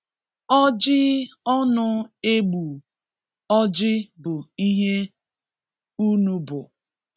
Ọjị ọnụ egbu orji bụ ihe unu bụ.